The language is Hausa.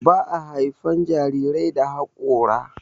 Ba a haifan jarirai da hakora.